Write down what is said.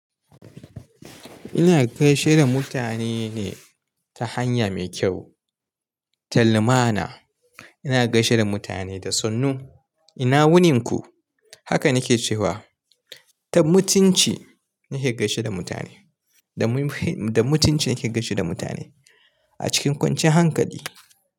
Ina gaishe da mutane ne ta hanya mai kyau. Tallumana, ina gaishe da mutane da sannu. Ina wunin ku? Haka nake cewa. Ta mutunci nake gaishe da mutane. Da mutunci nake gaishe da mutane a cikin kwanciyan hankali.